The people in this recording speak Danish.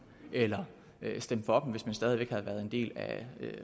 eller stemme for dem hvis man stadig væk havde været en del af